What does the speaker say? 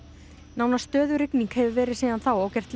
nánast stöðug rigning hefur verið síðan þá og gert